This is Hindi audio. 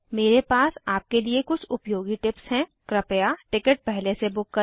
मेरे पास आपके लिए कुछ उपयोगी टिप्स हैं कृपया टिकट पहले से बुक करें